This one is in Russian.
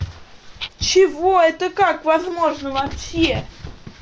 чего это как возможно вообще